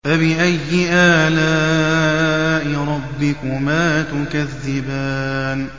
فَبِأَيِّ آلَاءِ رَبِّكُمَا تُكَذِّبَانِ